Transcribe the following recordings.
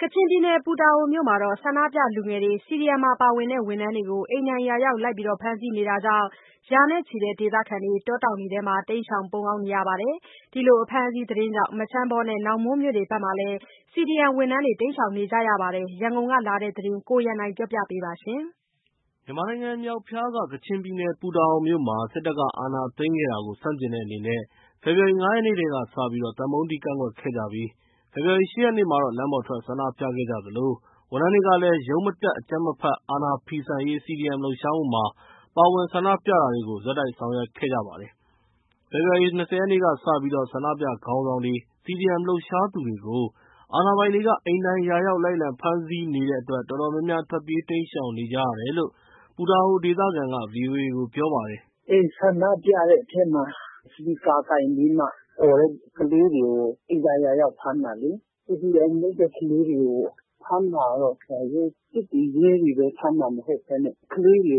ကချင်ပြည်နယ် ပူတာအိုမြို့မှာ ဆန္ဒပြ လူငယ်တွေ၊ CDM မှာ ပါဝင်တဲ့ ဝန်ထမ်းတွေကို အိမ်တိုင်ရာရောက် လိုက်လံဖမ်းဆီးနေတာကြောင့် ရာနဲ့ချီတဲ့ ဒေသခံတွေဟာ တောတောင်တွေထဲမှာ တိမ်းရှောင်ပုန်းအောင်း နေရပါတယ်။ ဒီလိုအဖမ်းအဆီးသတင်းကြောင့် မချမ်းဘောနဲ့ နောင်မွန်းမြို့တွေဘက်မှာလည်း CDM ဝန်ထမ်းတွေ တိမ်းရှောင်နေကြရပါတယ်။ ရန်ကုန်ကလာတဲ့သတင်းကို ကိုရန်နိုင်ကပြောပြပါမယ်။ မြန်မာနိုင်ငံ မြောက်ဖျားက ကချင်ပြည်နယ် ပူတာအိုမြို့မှာ စစ်တပ်က အာဏာသိမ်းခဲ့တာကို ဆန့်ကျင်တဲ့အနေနဲ့ ဖေဖော်ဝါရီလ ၅ ရက်နေ့ထဲကစပြီး သံပုံးတီးကန့်ကွက်ခဲ့ကြပြီး ဖေဖော်ဝါရီလ ၈ ရက်နေ့မှာတော့ လမ်းပေါ်ထွက် ဆန္ဒပြခဲ့သလို ဝန်ထမ်းတွေကလည်း ရုံးမတက် အကြမ်းမဖက် အာဏာဖီဆန်ရေး CDM လှုပ်ရှားမှုမှာ ပါဝင် ဆန္ဒပြတာတွေကို ဆက်တိုက်ဆောင်ရွက်ခဲ့ကြတာပါ။ ဖေဖော်ဝါရီလ ၂၀ ရက်နေ့ကစပြီး ဆန္ဒပြခေါင်းဆောင်တွေ၊ CDM လှုပ်ရှားသူတွေကို အာဏာပိုင်တွေက အိမ်တိုင်ရာရောက် လိုက်လံ ဖမ်းဆီးနေတဲ့အတွက် တော်တော်များများ ထွက်ပြေးတိမ်းရှောင်နေကြရတယ်လို့ ပူတာအို ဒေသခံက VOA ကို ပြောပါတယ်။ “အဲဒီ ဆန္ဒပြတဲ့အထဲမှာ စပီကာကိုင်ပြီးမှ အော်တဲ့ကလေးတွေကို အိမ်တိုင်ရာရောက် ဖမ်းတာလေ။ CDM လုပ်တဲ့ ကလေးတွေကို ဖမ်းတာကတော့ စစ်တွေ၊ ရဲတွေပဲ ဖမ်းတာမဟုတ်ဘဲနဲ့ ကလေးတွေ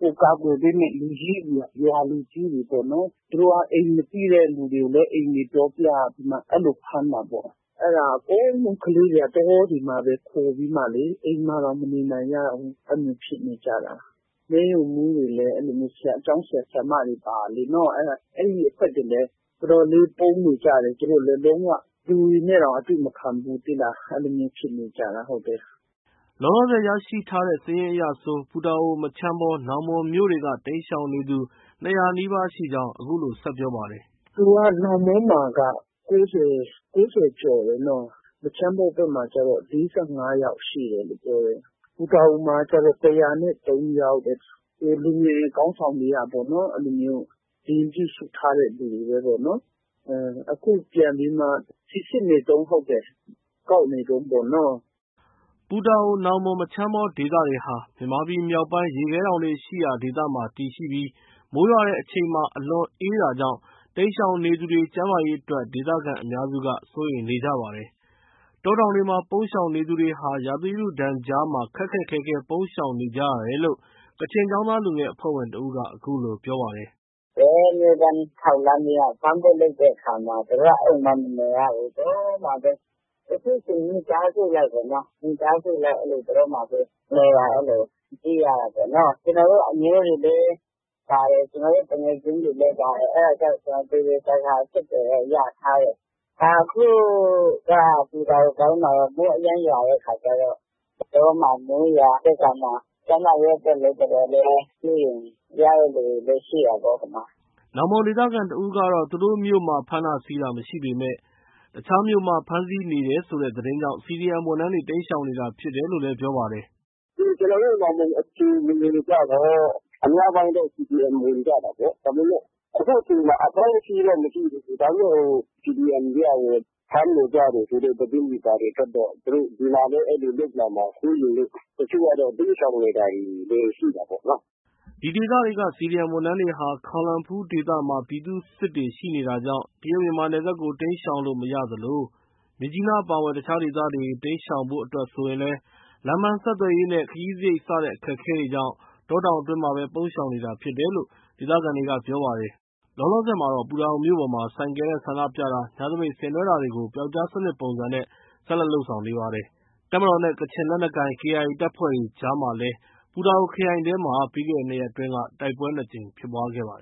ကို ကာကွယ်ပေးမယ့် လူကြီးတွေက၊ ရွာလူကြီးတွေပေ့ါနော်၊ သူတို့က အိမ်မသိတဲ့လူတွေကိုလည်း အိမ်တွေပြောပြပြီးမှ အဲလို ဖမ်းတာပေါ့။ အဲဒါကြောင့် ကလေးတွေက တောတွေမှာပဲ ခိုပြီးမှလေ အိမ်မှာတောင် မနေကြဘူး။ အဲဒါမျိုး ဖြစ်နေကြတာ။ မဲရုံးမှူးတွေလည်း အဲလိုမျိုး၊ ကျောင်းဆရာ၊ ဆရာမတွေပါတာလေ အဲဒီအဖွဲ့တွေလည်း တော်တော်လေး ပုန်းနေကြတယ်။ လုံး၀ လူတွေနဲ့တောင် အတွေ့မခံဘူး သိလား။ အဲလိုမျိုးဖြစ်နေကြတာ။” လောလောဆည် ရရှိထားတဲ့စာရင်းအရဆို ပူတာအို၊ မချမ်းဘောနဲ့ နောင်မွန်းမြို့တွေက တိမ်းရှောင်နေသူ ၂၀၀ နီးပါးရှိကြောင်း အခုလို ဆက်ပြောပါတယ်။ “သူက နောင်မွန်းမှာက ၉၀။ ၉၀ ကျော်တယ်နော။ မချမ်းဘောဘက်မှာကျတော့ ၄၅ ယောက်ရှိတယ်လို့ ပြောတယ်။ ပူတာအိုမှာကျတော့ ၁၀၃ ယောက်တဲ့။ လူငယ်တွေ ခေါင်းဆောင်တွေက စာရင်းပြုစုထားတဲ့သူတွေပဲပေါ့နော်။ အခု ပြန်ပြီးမှ စိစစ်နေတုံး ဟုတ်တယ်။ ကောက်နေတုံးပေါ့နော။” ပူတာအို၊ နောင်မွန်း၊ မချမ်းဘော ဒေသတွေဟာ မြန်မာပြည်မြောက်ပိုင်း ရေခဲတောင်တွေရှိရာဒေသမှာ တည်ရှိပြီး မိုးရွာချိန်မှာ အလွန် အေးချမ်းတာကြောင့် တိမ်းရှောင်နေသူတွေ ကျန်းမာရေးအတွက် ဒေသခံအများစုက စိုးရိမ်နေကြပါတယ်။ တောတောင်တွေမှာ ပုန်းရှောင်နေသူတွေဟာ ရာသီဥတုဒဏ်ကြားမှာ ခက်ခက်ခဲခဲ ပုန်းရှောင်နေကြရတယ်လို့ ကချင်ကျောင်းသားလူငယ်အဖွဲ့ဝင် တစ်ဦးက အခုလို ပြောပါတယ်။ “အမြဲတမ်းထောက်လှမ်းပြီးမှ ဖမ်းဖို့ လုပ်တဲ့အခါမှာ သူတို့က အိမ်မှာ မနေရဘူး။ တောမှာပဲ။ တချို့ ဆို မိသားစုလိုက် တောမှာပဲ နေတာ၊ အဲလို သိရတာပေါ့နော။ ကျနော်တို့ အမျိုးတွေလည်းပါတယ်။ ကျနော်တို့ သူငယ်ချင်းတွေလည်း ပါတယ်။ အဲဒါကြောင့် သေသေချာချာ အဆက်အသွယ်တော့ ရထားတယ်။ အခုက ပူတာအိုပိုင်းမှာတော့ မိုးအရမ်းရွာတဲ့အခါကျတော့ တောမှာ မိုးရွာတဲ့အခါ ကျန်းမာရေးအတွက်လည်း တော်တော်လေး စိုးရိမ်ရတဲ့လူတွေလည်း ရှိတာပေါ့ ဟိုမှာ။” နောင်မွန်းဒေသခံတစ်ဦးကတော့ သူတို့ မြို့မှာ ဖမ်းတာဆီးတာ မရှိပေမယ့် တခြားမြို့မှာ ဖမ်းဆီးနေတယ်ဆိုတဲ့သတင်းကြောင့် CDM ဝန်ထမ်းတွေ တိမ်းရှောင်နေတာဖြစ်တယ်လို့ ပြောပါတယ်။ “ကျနော်တို့ နောင်မွန်းအခြေအနေကျတော့ အများပိုင်းတော့ CDM ဝင်ကြတာပေါ့။ ဒါပေမဲ့ အခုအချိန်မှာ အဖမ်းအဆီးတော့ မရှိသေးဘူး။ ဒါပေမဲ့ ဟို CDM တွေက ဖမ်းနေကြတယ်ဆိုတဲ့ သတင်းတွေထွက်တော့ ဒီမှာလည်း အဲလိုလုပ်လာမှာစိုးရိမ်လို့ တချို့ကတော့ တိမ်းရှောင်နေတာတွေ ရှိတာပေါ့နော။” ဒီဒေသတွေက CDM ဝန်ထမ်းတွေဟာ ခေါင်လန်ဖူးဒေသမှာ ပြည်သူ့စစ်တွေ ရှိနေတာကြောင့် တရုတ်-မြန်မာနယ်စပ်ကို တိမ်းရှောင်လို့ မရသလို မြစ်ကြီးနားအပါအဝင် တခြားဒေသတွေ တိမ်းရှောင်ဖို့အတွက်ဆိုရင်လည်း လမ်းပန်းဆက်သွယ်ရေးနဲ့ ခရီးစရိတ် စတဲ့အခက်အခဲတွေကြောင့် တောတောင်အတွင်းမှာပဲ ပုန်းရှောင်နေတာဖြစ်တယ်လို့ ဒေသခံတွေက ပြောပါတယ်။ လောလောဆည်မှာတော့ ပူတာအိုမြို့ပေါ်မှာ ဆိုင်ကယ်နဲ့ ဆန္ဒပြတာ၊ ညသပိတ်ဆင်နွှဲတာတွေကို ပြောက်ကျားစနစ်ပုံစံနဲ့ ဆက်လက်လုပ်ဆောင်နေပါတယ်။ တပ်မတော်နဲ့ ကချင်လက်နက်ကိုင် KIA တပ်တွေကြားမှာလည်း ပူတာအိုခရိုင်ထဲမှာ ပြီးခဲ့တဲ့ ၂ရက်အတွင်း တိုက်ပွဲ ၂ ကြိမ် ဖြစ်ခဲ့ပါတယ်